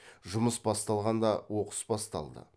жұмыс басталғанда оқыс басталды